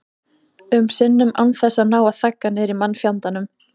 um sinnum án þess að ná að þagga niður í mannfjandanum.